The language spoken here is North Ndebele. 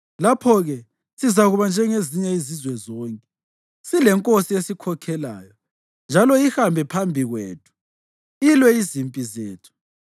Lapho-ke sizakuba njengezinye izizwe zonke, silenkosi esikhokhelayo njalo ihambe phambi kwethu ilwe izimpi zethu.”